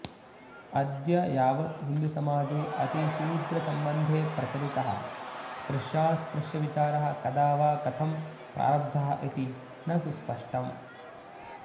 अद्ययावत् हिन्दुसमाजे अतिशूद्रसम्बन्धे प्रचलितः स्पृश्यास्पृश्यविचारः कदा वा कथं प्रारब्धः इति न सुस्पष्टम्